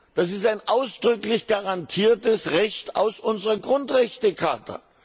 Das ist ein ausdrücklich garantiertes Recht aus unserer Grundrechtecharta.